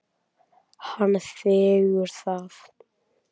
Hann þiggur það.